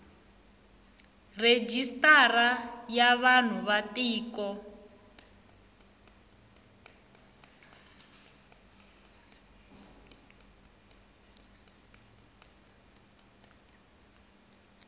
rejistara ya vanhu va tiko